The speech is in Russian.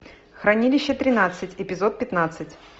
хранилище тринадцать эпизод пятнадцать